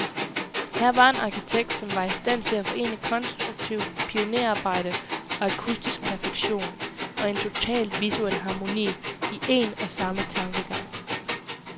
Her var en arkitekt, som var i stand til at forene konstruktivt pionerarbejde, akustisk perfektion, og en total visuel harmoni, i en og samme tankegang.